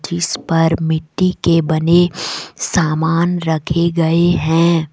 जिस पर मिट्टी के बने समान रखे गए हैं।